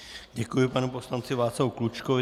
Děkuji panu poslanci Václavu Klučkovi.